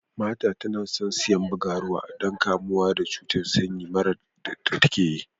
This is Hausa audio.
Martha tana son siyan bagaruwa don kamuwa da cuta sanyi mara da take ji.